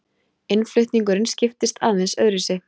Innflutningurinn skiptist aðeins öðruvísi.